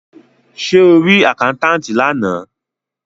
Ṣé o rí àkáńtátì lánàá.